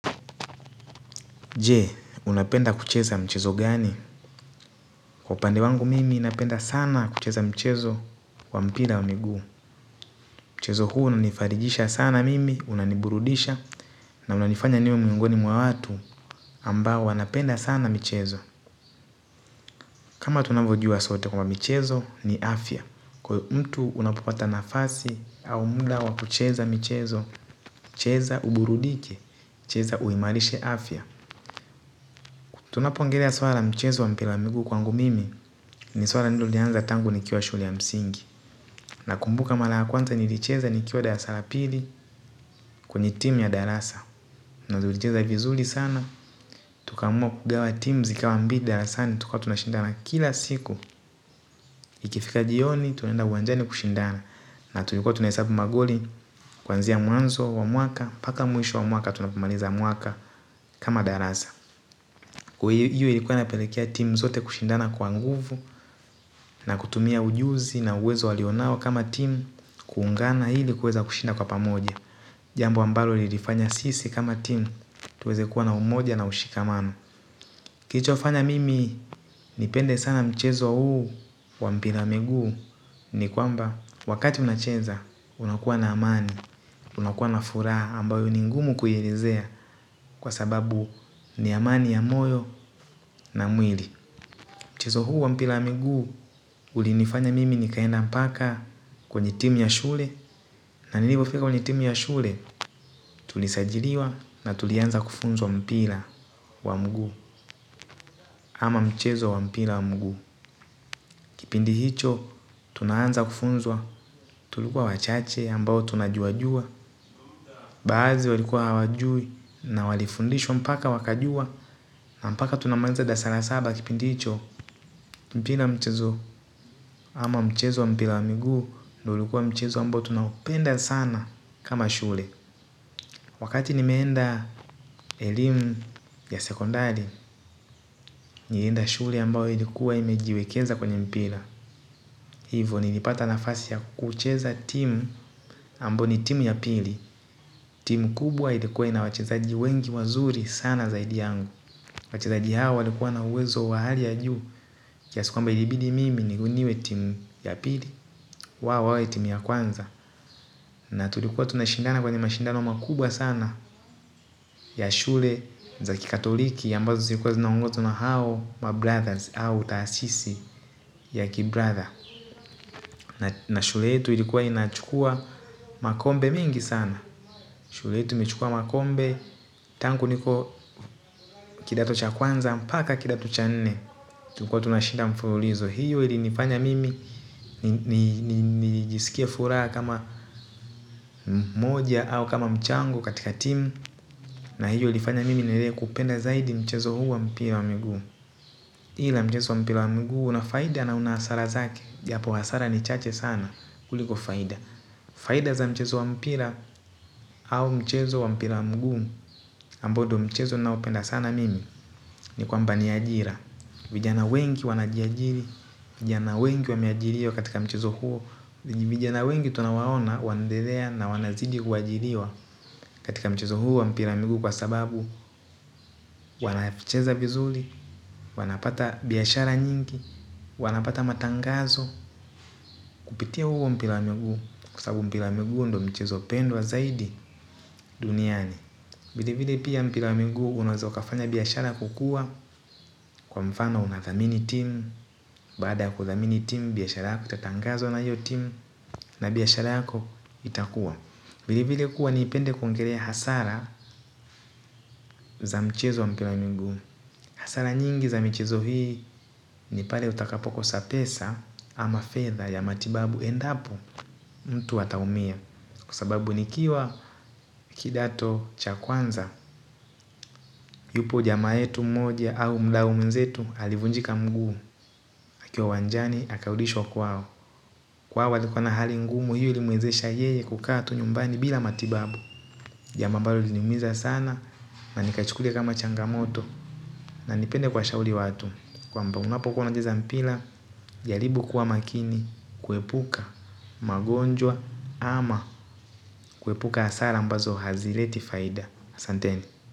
Je, unapenda kucheza mchezo gani? Kwa upande wangu mimi napenda sana kucheza mchezo wa mpira wa miguu. Mchezo huu unanifarijisha sana mimi, unaniburudisha, na unanifanya niwe miongoni mwa watu ambao wanapenda sana mchezo. Kama tunavyojua sote kwa mchezo ni afya. Kwa mtu unapopata nafasi, au muda wa kucheza michezo, cheza uburudike, cheza uimarishe afya. Tunapoongelea swala la mchezo wa mpira wa miguu kwangu mimi. Ni swala nililoanza tangu nikiwa shule ya msingi. Na kumbuka mara ya kwanza nilicheza nikiwa dasara la pili kwenye team ya darasa na nilizicheza vizuri sana. Tukaamua kugawa team zikawa mbili darasani. Tukawa tunashindana kila siku. Ikifika jioni tunaenda uwanjani kushindana na tulikuwa tunahesabu magoli. Kwanzia mwanzo wa mwaka mpaka mwisho wa mwaka tunapomaliza mwaka kama darasa kwa hiyo ilikuwa napelekea team zote kushindana kwa nguvu na kutumia ujuzi na uwezo walionao kama team. Kuungana ili kuweza kushinda kwa pamoja. Jambo ambalo ilifanya sisi kama timu tuweze kuwa na umoja na ushikamano. Kilichofanya mimi nipende sana mchezo huu wa mpira wa miguu. Ni kwamba wakati unacheza unakuwa na amani unakuwa na furaha ambayo ni ngumu kuielezea kwa sababu ni amani ya moyo na mwili. Mchezo huu wa mpira wa miguu. Ulinifanya mimi nikaenda mpaka kwenye timu ya shule na nilipofika kwenye timu ya shule. Tulisajiliwa na tulianza kufunzwa mpira wa mguu ama mchezo wa mpira wa mguu. Kipindi hicho, tunaanza kufunzwa. Tulikuwa wachache ambao tunajua jua. Baadhi walikuwa hawajui na walifundishwa mpaka wakajua na mpaka tunamaliza dasara saba kipindi hicho. Kipindi hicho, mpira mchezo ama mchezo wa mpira wa mguu. Ndo ilikuwa mchezo ambao tunapenda sana kama shule. Wakati nimeenda elimu ya sekondari nilienda shule ambao ilikuwa imejiwekeza kwenye mpira. Hivo nilipata nafasi ya kucheza timu ambao ni timu ya pili. Timu kubwa ilikuwa ina wachezaji wengi wazuri sana zaidi yangu. Wachezaji hawa walikuwa na uwezo wa hali ya juu kiasi kwamba ilibidi mimi niwe timu ya pili. Wawe timu ya kwanza na tulikuwa tunashindana kwenye mashindano makubwa sana ya shule za kikatoliki ambazo zilikuwa zinaongozwa na hao ma brothers au taasisi ya ki brother na shule yetu ilikuwa inachukua makombe mingi sana shule yetu ichukua makombe tangu nikiwa kidato cha kwanza mpaka kidato cha nne tulikuwa tunashinda mfululizo hiyo ili nifanya mimi nijisikia furaha kama mmoja au kama mchango katika timu na hiyo ilifanya mimi niendelee kupenda zaidi mchezo huu wa mpira wa miguu. Ila mchezo wa mpira wa mguu unafaida na unahasara zake japo hasara ni chache sana kuliko faida. Faida za mchezo wa mpira au mchezo wa mpira wa mguu ambao ndo mchezo naopenda sana mimi. Ni kwamba ni ajira vijana wengi wanajiajiri vijana wengi wameajiriwa katika mchezo huu vijana wengi tunawaona wanabebea na wanzidi kuajiriwa katika mchezo huu wa mpira wa miguu kwa sababu wanacheza vizuri. Wanapata biashara nyingi. Wanapata matangazo kupitia huo mpira wa miguu kwa sababu mpira wa miguu ndo mchezo hupendwa zaidi duniani vile vile pia mpira wa miguu unaeza kafanya biashara kukuwa. Kwa mfano unathamini timu. Baada ya kuthamini timu biashara yako itatangazwa na hiyo timu na biashara yako itakuwa vile vile kuwa nipende kuongelea hasara za mchezo wa mpira wa miguu. Hasara nyingi za michezo hii ni pale utakapo kosa pesa ama fedha ya matibabu endapo mtu ataumia, kwa sababu nikiwa kidato cha kwanza. Yupo jamaa yetu moja au mdau mwenzetu alivunjika mguu akiwa uwanjani, akarudishwa kwao wao walikuwa na hali ngumu hiyo ilimwezesha yeye kukaa tu nyumbani bila matibabu. Jambo ambalo liniumiza sana, na nikachukulia kama changamoto na nipende kuwashauri watu. Kwamba unapo kuwa unacheza mpira, jaribu kuwa makini. Kuepuka magonjwa ama kuepuka hasara ambazo hazileti faida asanteni.